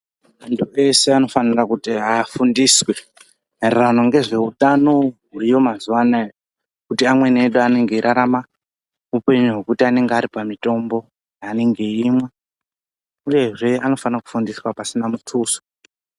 Antu pese anofanira kuti afundiswe, maererano ngezveutano huriyo mazuwa anaya, kuti amweni edu anenge eirarama upenyu hwekuti anenge ari pamitombo yeanenge eimwa, uyezve anofana kufundiswa pasina muthuso.